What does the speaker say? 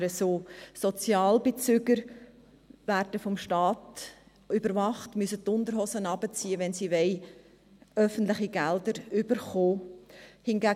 Sozialhilfebezüger werden vom Staat überwacht und müssen die Unterhosen runterlassen, wenn sie öffentliche Gelder erhalten wollen.